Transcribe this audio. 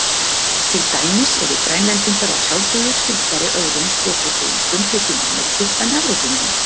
Til dæmis eru Grænlendingar að sjálfsögðu skyldari öðrum svokölluðum frumbyggjum Ameríku en Evrópumönnum.